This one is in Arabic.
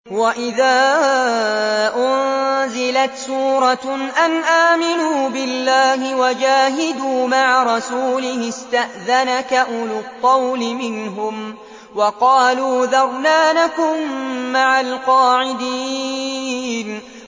وَإِذَا أُنزِلَتْ سُورَةٌ أَنْ آمِنُوا بِاللَّهِ وَجَاهِدُوا مَعَ رَسُولِهِ اسْتَأْذَنَكَ أُولُو الطَّوْلِ مِنْهُمْ وَقَالُوا ذَرْنَا نَكُن مَّعَ الْقَاعِدِينَ